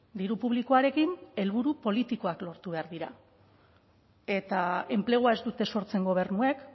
diru publikoarekin helburu politikoak lortu behar dira eta enplegua ez dute sortzen gobernuek